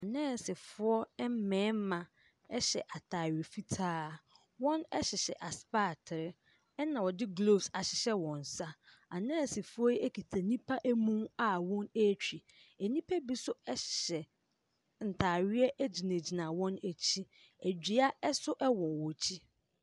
Nɛɛsefoɔ ɛmɛɛma ɛhyɛ ataare fitaa, wɔn ɛhyehyɛ asepaatere ɛna wɔde gloos ahyehyɛ wɔn nsa. Anɛɛsefoɔ yi ekita nnipa emu a wɔn ɛtwi, nnipa bi so ɛhyehyɛ ntaareɛ egyinagyina wɔn akyi, edua ɛso ɛwɔ wɔ'kyi.